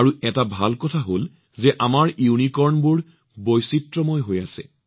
এটা ভাল কথা এয়ে যে আমাৰ ইউনিকৰ্নবোৰে বৈচিত্ৰতা আনিছে